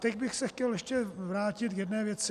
Teď bych se chtěl ještě vrátit k jedné věci.